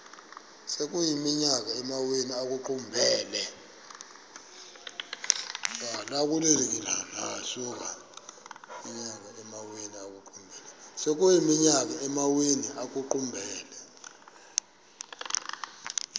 sekuyiminyaka amawenu ekuqumbele